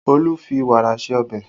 Olu fi wàrà ṣe ọbẹ̀